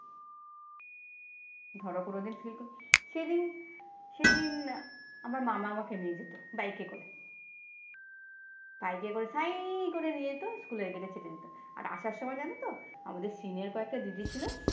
ধরো কোনোদিন সেদিন সেদিন আমার মামা আমাকে নিয়ে যেত বাইকে করে। বাইকে করে সাঁই করে নিয়ে যেত স্কুলের gate ছেড়ে দিত। আর আসার সময় জানতো, আমাদের senior কয়েকটা দিদি ছিল